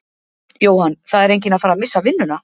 Jóhann: Það er enginn að fara missa vinnuna?